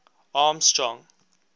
armstrong